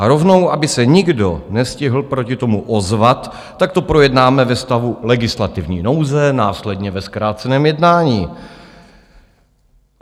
A rovnou, aby se nikdo nestihl proti tomu ozvat, tak to projednáme ve stavu legislativní nouze, následně ve zkráceném jednání.